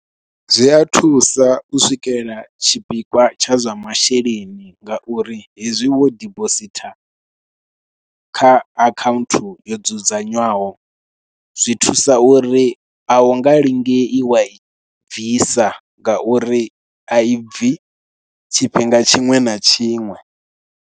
Zwi a thusa u swikela tshipikwa tsha zwa masheleni, nga uri hezwi wo dibositha kha account yo dzudzanywaho, zwi thusa uri a u nga lingea wa i bvisa nga uri a ibvi tshifhinga tshiṅwe na tshiṅwe.